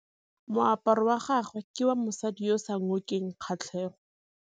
Moaparô wa gagwe ke wa mosadi yo o sa ngôkeng kgatlhegô.